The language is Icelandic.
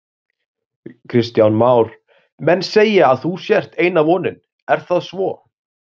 Kristján Már: Menn segja að þú sért eina vonin, er það svo?